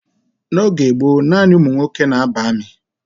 N'oge gboo, nanị ụmụ nwoke na ba armi